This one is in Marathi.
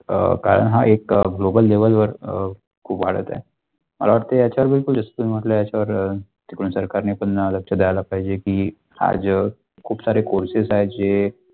अ कारण हा एक gobal level वर अ कुभाडत आहे मला वाटतंय याच्यावर बिलकुल जस तुम्ही म्हण्टलंय याचा वर तिकडून सरकारने पण लक्ष द्याला पाहिचे की आज खूप सारे courses आहे जे.